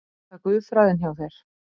Er það guðfræðin hjá þér?